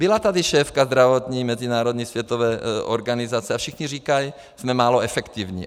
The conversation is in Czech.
Byla tady šéfka zdravotní mezinárodní světové organizace a všichni říkají, jsme málo efektivní.